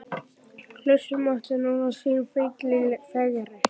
Klaustrið mátti muna sinn fífil fegri.